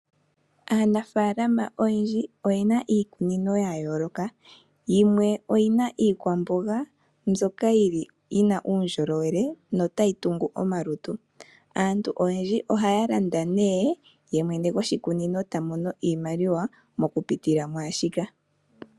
Aanafalama oyendji oyena iikunino ya yooloka. Yikwe oyi na iikwamboga mbyoka yili yina uundjolowele notayi tungu omalutu. Aantu oyendji ohaya landa nee, ye mwene goshikunino ta mono iimaliwa mo ku pitila mushika.